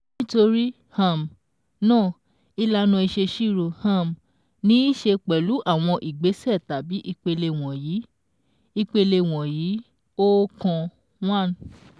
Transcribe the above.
Nítorí um náà, ìlànà ìṣèṣirò um ní í ṣe pẹlú àwọn ìgbésẹ̀ tàbí ìpele wọ̀nyí: ìpele wọ̀nyí: ókan(1)